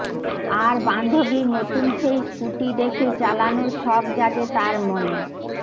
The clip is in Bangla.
আর বান্ধবীর নতুন সেই স্কুটি দেখে চালানোর শখ জাগে তার মনে